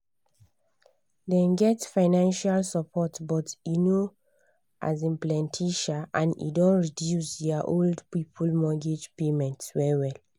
dem get financial support but e no um plenty um and e don reduce their old people mortgage payments well well.